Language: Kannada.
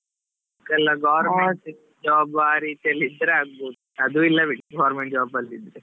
Government job ಅಲ್ಲಿ ಆ ರೀತಿಯಲ್ಲಿ ಇದ್ರೆ ಆಗ್ಬೋದು, ಅದೂ ಇಲ್ಲಾ ಬಿಡಿ government job ಅಲ್ಲಿ ಇದ್ರೆ.